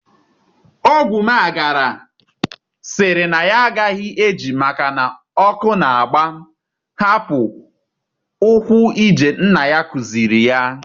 Ogwumagala sịrị na ya agaghị eji maka na ọkụ na-agba hapụ ụkwụ-ije nna ya kụziiri ya.